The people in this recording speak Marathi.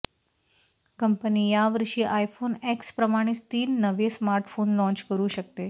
कंपनी यावर्षी आयफोन एक्स प्रमाणेच तीन नवे स्मार्टफोन लाँच करू शकते